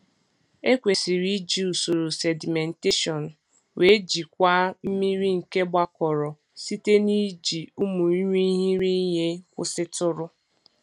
Ekwesịrị iji usoro sedimentation wee jikwaa mmiri nke gbakọrọ site n’iji ụmụ irighiri ihe kwụsịtụrụ.